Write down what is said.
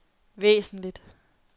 væsentligt